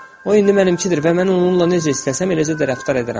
O indi mənimkidir və mən onunla necə istəsəm, eləcə də rəftar edərəm.